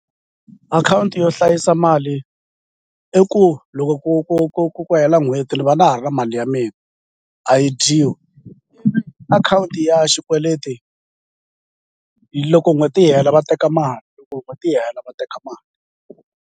Akhawunti yo hlayisa mali i ku loko ku ku ku ku ku hela n'hweti ni va na ha ri na mali ya mina a yi dyiwi akhawunti ya xikweleti loko n'hweti yi hela va teka mali n'hweti yi hela va teka mali.